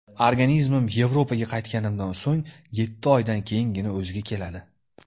Organizmim Yevropaga qaytganimdan so‘ng yetti oydan keyingina o‘ziga keladi.